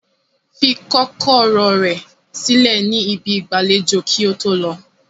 Fi kọkọrọ rẹ silẹ ni ibi igbalejo ki oto lọ!